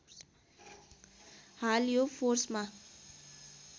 हाल यो फोर्समा